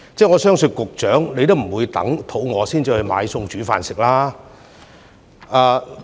我相信局長也不會等到肚子餓才去買菜煮飯吧？